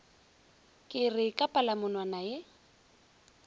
ke re ka palamonwana ye